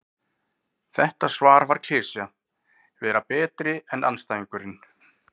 Þetta svar var klisja: Vera betri en andstæðingurinn.